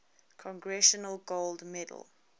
congressional gold medal